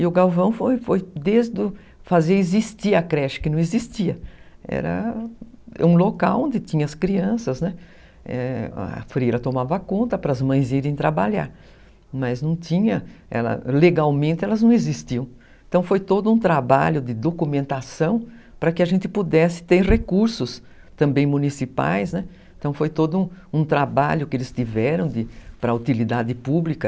E o Galvão fazia existir a creche, que não existia. Era... um local onde tinha as crianças, né, a Freira tomava conta para as mães irem trabalhar. Mas não tinham, legalmente elas não existiam. Então foi todo um trabalho de documentação, para que a gente pudesse ter recursos também municipais. Então foi todo um trabalho que eles tiveram para utilidade pública.